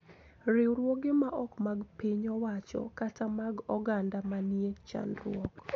Riwruoge ma ok mag piny owacho kata mag oganda ma nie chandruok